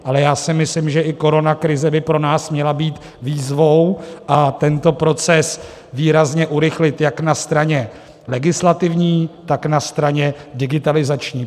Ale já si myslím, že i koronakrize by pro nás měla být výzvou a tento proces výrazně urychlit jak na straně legislativní, tak na straně digitalizační.